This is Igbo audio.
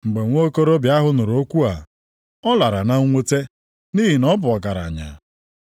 Mgbe nwokorobịa ahụ nụrụ okwu a, ọ lara na mwute, nʼihi na ọ bụ ọgaranya.